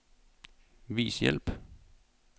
Vis hjælp.